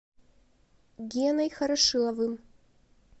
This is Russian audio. геной хорошиловым